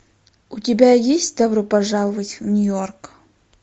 у тебя есть добро пожаловать в нью йорк